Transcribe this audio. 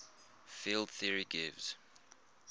field theory gives